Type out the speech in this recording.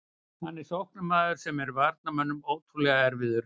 Hann er sóknarmaður sem er varnarmönnum ótrúlega erfiður.